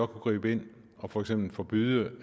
gribe ind og for eksempel forbyde